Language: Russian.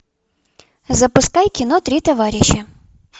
запускай кино три товарища